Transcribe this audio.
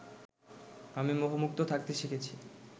আমি মোহমুক্ত থাকতে শিখেছি